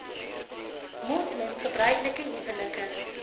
moslem gebruiklike huwelike